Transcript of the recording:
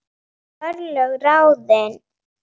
Örlög ráðin